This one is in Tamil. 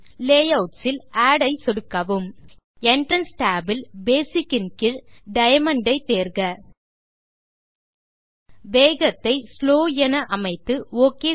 லேயூட்ஸ் இல் ஆட் ஐ சொடுக்கவும் என்ட்ரன்ஸ் tab இல் பேசிக் இன் கீழ் டயமண்ட் ஐ தேர்க வேகத்தை ஸ்லோ என் அமைத்து ஒக்